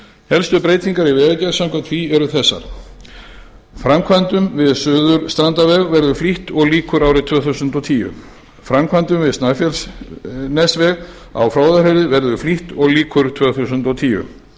helstu breytingar í vegagerð samkvæmt því eru þessar framkvæmdum við suðurstrandarveg verður flýtt og lýkur árið tvö þúsund og tíu framkvæmdum við snæfellsnesveg á fróðárheiði verður flýtt og lýkur tvö þúsund og tíu